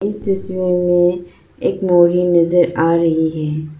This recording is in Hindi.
इस तस्वीर में एक बोरी नजर आ रही है।